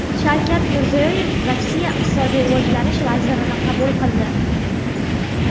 Shavkat Mirziyoyev Rossiya iqtisodiy rivojlanish vazirini qabul qildi.